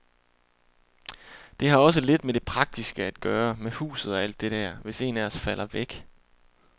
Det har også lidt med det praktiske at gøre, med huset og alt det der, hvis en af os falder væk.